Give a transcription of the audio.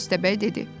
Köstəbək dedi.